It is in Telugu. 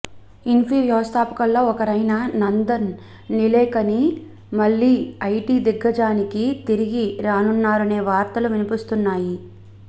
ఇన్ఫీ వ్యవస్థాపకుల్లో ఒకరైన నందన్ నిలేకని మళ్లీ ఐటీ దిగ్గజానికి తిరిగి రానున్నారనే వార్తలు వినిపిస్తున్నాయి